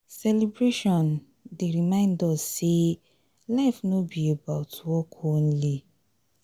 celebration dey remind us sey life no be about work only.